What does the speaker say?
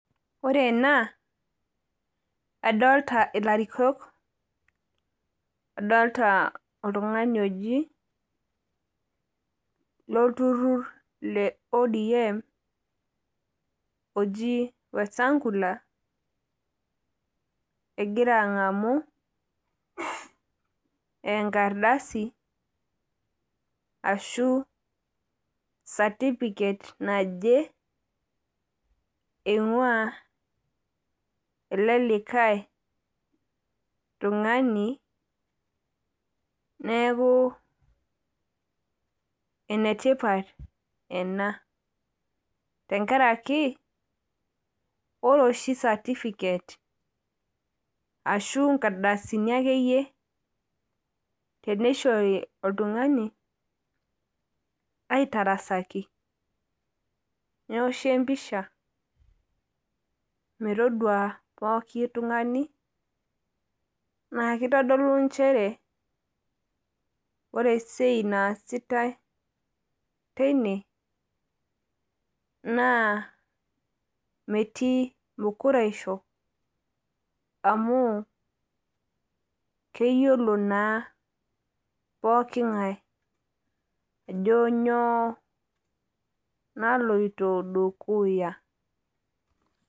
Ore ena adolita ilarikok adolita oltungani ojilorlturur le ODM oji Wetangula egira angamu enkardasi ashuu satifiket naje einguaa ele likae tungani neaku enetipat ena. Tenkaraki ore oshisatipijet ashuu nkardasini akeyie teneishori oltungani aitarasaki neoshi empisha metodua pooki tungani naa keitodolu nchere ore esiai nasitai teine